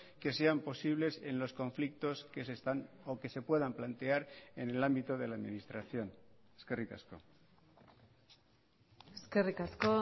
que sean posibles en los conflictos que se están o que se puedan plantear en el ámbito de la administración eskerrik asko eskerrik asko